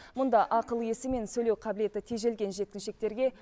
мұнда ақыл есі мен сөйлеу қабілеті тежелген жеткіншектерге